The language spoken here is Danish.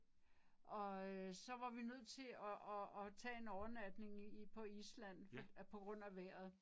Og øh så var vi nødt til og og og tage en overnatning i på Island på grund af vejret